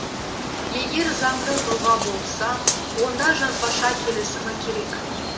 егер заңды тұлға болса онда жазбаша келісімі керек